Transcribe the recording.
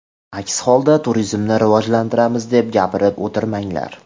Aks holda turizmni rivojlantiramiz deb gapirib o‘tirmanglar.